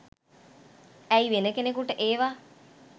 ඇයි වෙන කෙනකුට ඒවා